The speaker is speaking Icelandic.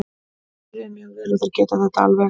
Þeir byrjuðu mjög vel og þeir geta þetta alveg.